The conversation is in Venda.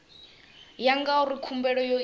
ya ngauri khumbelo yo itwa